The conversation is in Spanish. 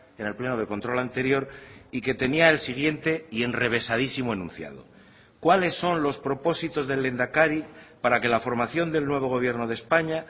en el pleno de control anterior y que tenía el siguiente y enrevesadísimo enunciado cuáles son los propósitos del lehendakari para que la formación del nuevo gobierno de españa